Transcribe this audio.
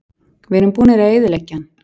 Við erum búnir að eyðileggja hann.